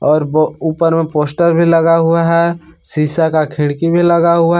और वो ऊपर में पोस्टर भी लगा हुआ है शिशा का खिड़की भी लगा हुआ --